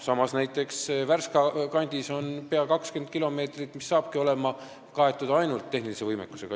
Samas, näiteks Värska kandis on peaaegu 20 kilomeetrit, mis kaetaksegi ainult tehnilise võimekusega.